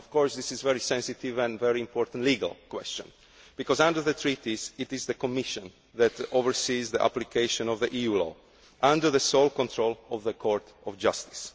This is a very sensitive and very important legal question, because under the Treaties it is the Commission that oversees the application of EU law under the sole control of the Court of Justice.